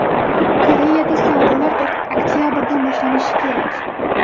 Koreyada savdolar oktabrdan boshlanishi kerak.